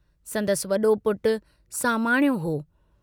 संदसि वडो पुटु सामाणियो हो।